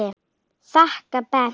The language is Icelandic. þakka pent.